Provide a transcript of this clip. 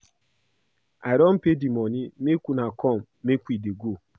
I don pay the money make una come make we dey go